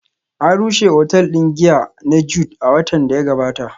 An rushe otal din giya na Jude a watan da ya gabata